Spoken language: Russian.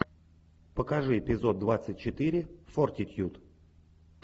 покажи эпизод двадцать четыре фортитьюд